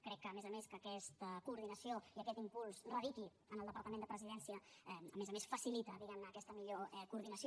crec que a més a més que aquesta coordinació i aquest impuls radiqui en el departament de presidència a més a més facilita diguem ne aquesta millor coordinació